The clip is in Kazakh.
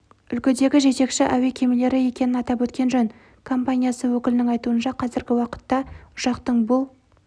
үлгідегі жетекші әуе кемелері екенін атап өткен жөн компаниясы өкілінің айтуынша қазіргі уақытта ұшақтың бұл